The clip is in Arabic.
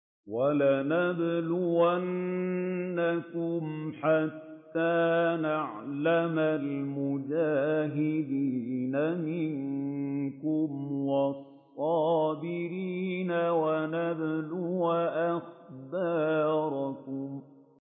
وَلَنَبْلُوَنَّكُمْ حَتَّىٰ نَعْلَمَ الْمُجَاهِدِينَ مِنكُمْ وَالصَّابِرِينَ وَنَبْلُوَ أَخْبَارَكُمْ